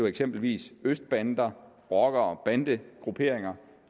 eksempelvis østbander rockere bandegrupperinger